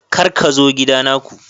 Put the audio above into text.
Kar ka zo kidana ku.